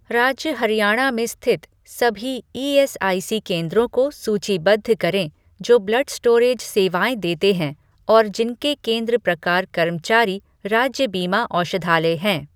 राज्य हरियाणा में स्थित सभी ईएसआईसी केंद्रों को सूचीबद्ध करें जो ब्लड स्टोरेज सेवाएँ देते हैं और जिनके केंद्र प्रकार कर्मचारी राज्य बीमा औषधालय हैं।